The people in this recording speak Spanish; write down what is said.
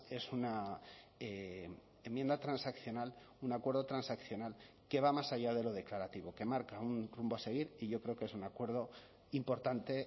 es una enmienda transaccional un acuerdo transaccional que va más allá de lo declarativo que marca un rumbo a seguir y yo creo que es un acuerdo importante